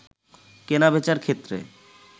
কেনা-বেচার ক্ষেত্রে